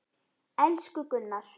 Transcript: Elsku Gunnar.